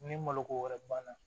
Ni maloko wɛrɛ banna